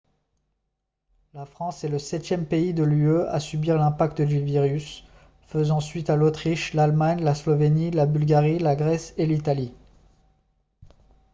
la france est le septième pays de l'ue à subir l'impact du virus faisant suite à l'autriche l'allemagne la slovénie la bulgarie la grèce et l'italie